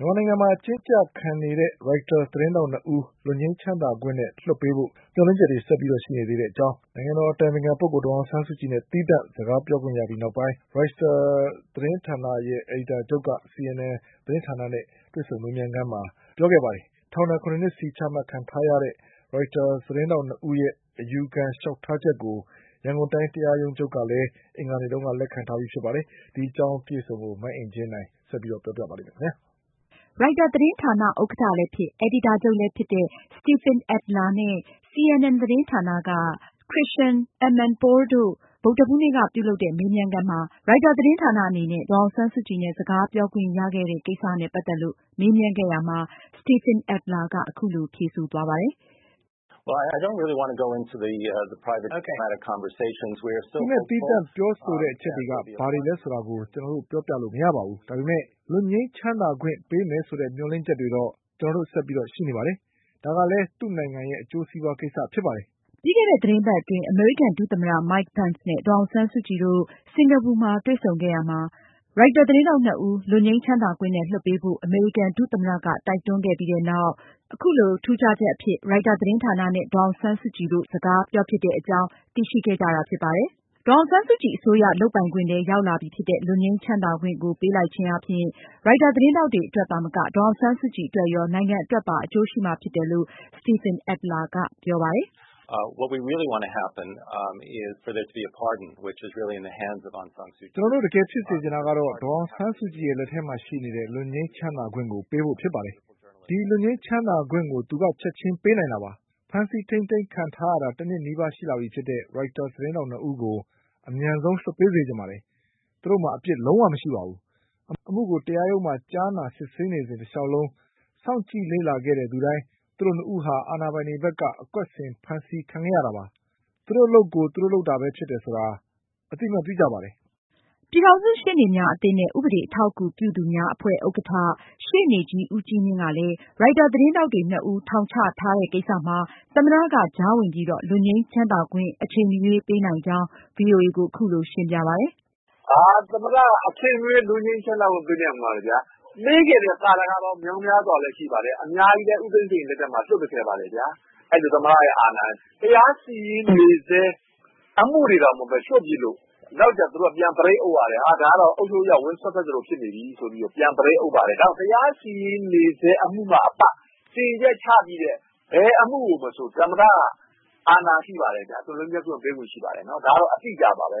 မြန်မာနိုင်ငံမှာ အကျဉ်းကျခံနေရတဲ့ ရိုက်တာသတင်းထောက်နှစ်ဦးကို လွတ်ငြိမ်းချမ်းသာခွင့်နဲ့လွှတ်ပေးဖို့ မျှော်လင့်ချက်တွေဆက်ပြီးရှိနေကြောင်း နိုင်ငံတော်အတိုင်ပင်ခံပုဂ္ဂိုလ် ဒေါ်အောင်ဆန်းစုကြည်နဲ့ သီးသန့် တိုက်ရိုက်စကားပြောခွင့်ရပြီးနောက်ရိုက်တာသတင်းဌာန အကြီးအကဲတဦးက CNN သတင်းဌာနဲ့ မေးမြန်းခန်းမှာ ပြောကြားခဲ့ပါတယ်။ ထောင်ဒဏ် ၇ နှစ်စီချမှတ်ခံထားရတဲ့ ရိုက်တာသတင်းထောက်နှစ်ဦးရဲ့ အယူခံလျှောက်ထားချက်ကို ရန်ကုန်တိုင်းတရားရုံးချုပ်ကလည်း အင်္ဂါနေ့က လက်ခံထားပြီဖြစ်ပါတယ်။ မအင်ကြင်းနိုင်က အပြည့်အစုံကို ဆက်ပြီးတင်ပြမှာပါ။ ရိုက်တာသတင်းဌာန ဥက္ကဌလည်းဖြစ် အယ်ဒီတာချုပ်လည်းဖြစ်တဲ့ Stephen Adler နဲ့ CNN သတင်းဌာနက Christiane Amanpour တို့ ဗုဒ္ဓဟူးနေ့ကပြုလုပ်တဲ့ မေးမြန်းခန်းမှာ ရိုက်တာသတင်းဌာနအနေနဲ့ ဒေါ်အောင်ဆန်းစုကြည်နဲ့ စကားပြောခွင့်ရခဲ့တဲ့ ကိစ္စနဲ့ ပတ်သက်လို့ မေးမြန်းခဲ့ရာမှာ Stephen Adler က အခုလို ဖြေဆိုခဲ့ပါတယ်။ “ကျနော်တို့ သီးသန့်ပြောဆိုခဲ့တဲ့အကြောင်းတွေနဲ့ပတ်သက်လို့ ကျနော်မပြောလိုပါဘူး။ ဒါပေမယ့် လွတ်ငြိမ်းချမ်းသာခွင့်ပေးမယ်ဆိုတဲ့ မျှော်လင့်ချက်တော့ ကျနော်တို့ ဆက်ပြီးရှိနေပါတယ်။ ဒါကလည်း သူ့နိုင်ငံအတွက် အကျိုးဖြစ်စေတဲ့ကိစ္စပါ။" ပြီးခဲ့တဲ့ သတင်းပတ်အတွင်း အမေရိကန်ဒုသမ္မတ Mike Pence နဲ့ ဒေါ်အောင်ဆန်းစုကြည်တို့ တွေ့ဆုံခဲ့ပြီးနောက် ရိုက်တာသတင်းထောက်နှစ်ဦး လွတ်ငြိမ်းချမ်းသာခွင့်နဲ့ လွှတ်ပေးဖို့ အမေရိကန်ဒုသမ္မတက တိုက်တွန်းခဲ့ပြီးနောက် ထူးခြားချက်အဖြစ် အခုလို ရိုက်တာသတင်းဌာနနဲ့ ဒေါ်အောင်ဆန်းစုကြည်တို့ တိုက်ရိုက် စကားပြောဖြစ်တဲ့အကြောင်း သိရှိခဲ့တာဖြစ်ပါတယ်။ ဒေါ်အောင်ဆန်းစုကြည်အစိုးရ လုပ်ပိုင်ခွင့်ထဲ ရောက်လာပြီဖြစ်တဲ့ လွတ်ငြိမ်းချမ်းသာခွင့်ကို ပေးလိုက်ခြင်းအားဖြင့် ရိုက်တာသတင်းထောက်တွေအတွက်သာမကပဲ ဒေါ်အောင်ဆန်းစုကြည်အတွက်ရော၊ နိုင်ငံအတွက်ပါ အကျိုးရှိမှာဖြစ်တယ်လို့လည်း Stephen Adler ကပြောပါတယ်။ “ကျနော်တို့ အမှန်တကယ်ဖြစ်စေချင်တာကတော့ ဒေါ်အောင်ဆန်းစုကြည် လက်ထဲမှာရှိနေတဲ့ လွတ်ငြိမ်းချမ်းသာခွင့် ပေးဖို့ဖြစ်ပါတယ်။ ဒီလွတ်ငြိမ်းချမ်းသာခွင့်ကိုလည်း သူအနေနဲ့ချက်ချင်းပေးနိုင်ပါတယ်။ ဖမ်ဆီးထိန်းသိမ်းခံထားရတဲ့ တနှစ်နီးပါးရှိလာပြီဖြစ်တဲ့ ရိုက်တာသတင်းထောက်နှစ်ဦးကို အမြန်ဆုံး လွှတ်ပေးစေချင်ပါတယ်။ သူတို့မှာ အပြစ်လုံးဝမရှိပါဘူး။ အမှုကို တရားရုံးမှာကြားနာစစ်ဆေးစဉ် တလျှောက်လုံးစောင့်ကြည့်လေ့လာခဲ့သူတိုင်း သိနေတာက သူတို့နှစ်ယောက်ကို အာဏာပိုင်တွေဘက်က အကွက်ဆင်ဖမ်းဆီးခဲ့တာဖြစ်တယ်၊ နောက်ပြီး ဒီသတင်းထောက်နှစ်ယောက်ဟာ သူတို့အလုပ်ကို သူတို့လုပ်တာသာဖြစ်တယ် ဆိုတာကို အသိအမှတ်ပြုကြပါတယ်။” ပြည်ထောင်စုရှေ့နေများအသင်းနဲ့ ဥပဒေအထောက်အကူပြုသူများအဖွဲ့ ဥက္ကဌ ရှေ့နေကြီး ဦးကြီးမြင့်ကလည်း ရိုက်တာသတင်းထောက်တွေနှစ်ဦး ထောင်ချခံထားရတဲ့ကိစ္စမှာ သမ္မတက ကြားဝင်ပြီးတော့ လွတ်ငြိမ်းခွင့် အချိန်မရွေးပေးနိုင်ကြောင်း ဗွီအိုအေကို အခုလို ရှင်းပြခဲ့ပါတယ်။ “သမ္မတက အချိန်မရွေး လွတ်ငြိမ်းချမ်းသာခွင့် ပေးနိုင်ပါတယ်။ ပေးခဲ့တဲ့ သာဓကပေါင်းမြောက်မြားစွာလည်း ရှိပါတယ်။ အများကြီးလည်း ဦးသိန်းစိန်လက်ထက်မှာ လွှတ်ပေးခဲ့ပါတယ်။ အဲဒီလို သမ္မတရဲ့ အာဏာရှိပါတယ်။ တရားစီရင်နေဆဲ အမှုတွေတောင် လွှတ်ပြစ်လို့ နောက်ကျတော့ သူတို့က ဘရိတ် အုပ်ရတယ်။ အဲဒါတွေက အုပ်ချုပ်ရေးက ဝင်စွတ်ဖက်သလို ဖြစ်နေပြီဆိုက ဘရိတ် အုပ်ပါတယ်။ ဒါကြောင့် တရားစီရင်နေဆဲအမှုမှအပ စီရင်ချက်ချပြီးတဲ့ ဘယ်အမှုမဆို သမ္မတက အာဏာရှိပါတယ်။ လွှတ်ပေးနိုင်ပါတယ်။ ဒါက အတိအကျပါ။” အခု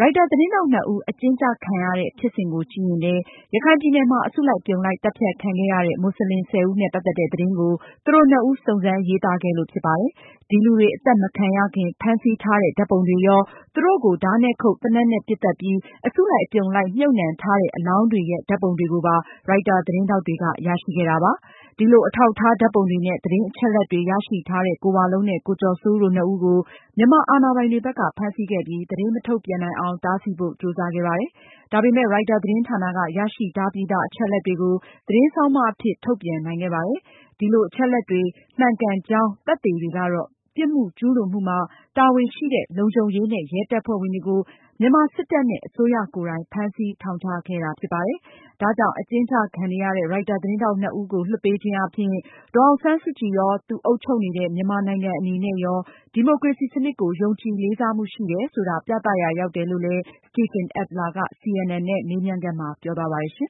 ရိုက်တာသတင်းထောက်နှစ်ဦး အကျဉ်းကျခံနေရတဲ့ ဖြစ်စဉ်ကိုကြည့်ရင်- ရခိုင်ပြည်နယ်မှာ အစုလိုက်အပြုံလိုက် သတ်ဖြတ်ခံခဲ့ရတဲ့ မွတ်စလင် ၁၀ ဦးနဲ့ ပတ်သက်တဲ့ သတင်းကို သူတို့နှစ်ဦး စုံစမ်း ရေးသားခဲ့တာဖြစ်ပါတယ်။ ဒီလူတွေ အသတ်မခံရခင် ဖမ်းဆီးထားတဲ့ ဓါတ်ပုံရော၊ သူတို့ကို ဓါးနဲ့ခုတ်၊ သေနတ်နဲ့ ပစ်သတ်ပြီး အစုလိုက်အပြုံလိုက် မြှုပ်နှံထားတဲ့ အလောင်းတွေရဲ့ ဓါတ်ပုံတွေကိုပါ ရိုက်တာသတင်းထောက်တွေက ရရှိခဲ့တာပါ။ ဒီလို အထောက်အထားဓါတ်ပုံတွေနဲ့ သတင်းအချက်အလက်တွေရရှိထားတဲ့ ကိုဝလုံးနဲ့ ကိုကျော်စိုးဦးတို့နှစ်ဦးကို မြန်မာအာဏာပိုင်တွေဘက်က ဖမ်းဆီးခဲ့ပြီး သတင်းမထုတ်ပြန်နိုင်အောင် တားဆီးဖို့ ကြိုးစားခဲ့ပါတယ်။ ဒါပေမယ့် ရိုက်တာသတင်းဌာနက ရရှိထားပြီးသားအချက်အလက်တွေကို သတင်းဆောင်းပါးအဖြစ် ထုတ်ပြန်နိုင်ခဲ့ပါတယ်။ ဒီအချက်အလက်တွေ မှန်ကန်ကြောင်းသက်သေတွေကတော့ ပြစ်မှုကျူးလွန်မှုမှာ တာဝန်ရှိတဲ့ လုံခြုံရေးနဲ့ ရဲ တပ်ဖွဲ့ဝင်တွေကို မြန်မာစစ်တပ်နဲ့ အစိုးရကိုယ်တိုင် ဖမ်းဆီးထောင်ချခဲ့တာဖြစ်ပါတယ်။ ဒါကြောင့် အကျဉ်းကျခံနေရတဲ့ ရိုက်တာသတင်းထောက်နှစ်ဦးကိုလွှတ်ပေးခြင်းအားဖြင့် ဒေါ်အောင်ဆန်းစုကြည်ရော၊ သူအုပ်ချုပ်နေတဲ့ မြန်မာနိုင်ငံ အနေနဲ့ရော ဒီမိုကရေစီစနစ်ကို ယုံကြည်လေးစားမှုရှိတယ်ဆိုတာ ပြသရာရောက်တယ်လို့ Stephen Adler က CNN နဲ့ မေးမြန်းခန်းမှာ ပြောသွားပါတယ်။